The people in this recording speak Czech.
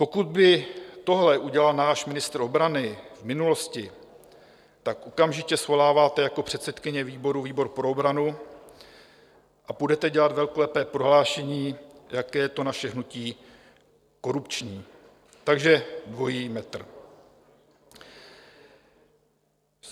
Pokud by tohle udělal náš ministr obrany v minulosti, tak okamžitě svoláváte jako předsedkyně výboru výbor pro obranu a půjdete dělat velkolepé prohlášení, jak je to naše hnutí korupční - takže dvojí metr.